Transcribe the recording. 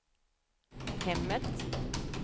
hemmet